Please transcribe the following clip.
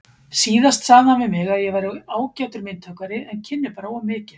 Síðast sagði hann við mig að ég væri ágætur myndhöggvari en kynni bara of mikið.